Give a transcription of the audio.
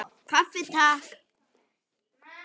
Kaffi, Takk!